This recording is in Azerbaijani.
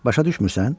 Başa düşmürsən?